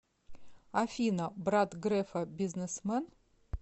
афина брат грефа бизнесмен